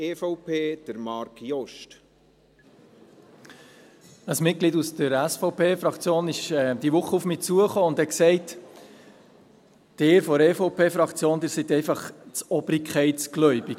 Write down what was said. Ein Mitglied der SVP-Fraktion kam diese Woche auf mich zu und sagte: «Ihr von der EVP-Fraktion, ihr seid einfach zu obrigkeitsgläubig.